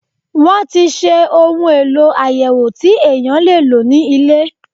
Wọ́n ti ṣe ohun èlò àyẹ̀wò tí èèyàn lè lò ní ilé.